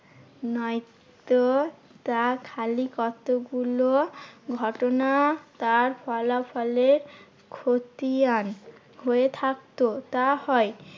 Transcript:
নয়তো তা খালি কতগুলো ঘটনা তার ফলাফলের খতিয়ান হয়ে থাকতো। তা হয়